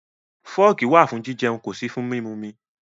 Fọ́ọ̀kì wà fún jijẹun, kò sí fún mímumi.